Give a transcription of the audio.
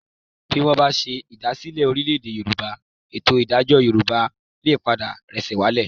Bí wọ́n bá ṣe ìdásílẹ̀ Orílè-èdè Yorùbá, ètò ìdájọ́ Yorùbá lè padà rẹ́sẹ̀ walẹ̀